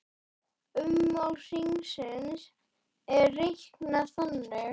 Ummál hrings er reiknað þannig